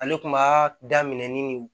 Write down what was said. Ale kun b'a daminɛ ni nin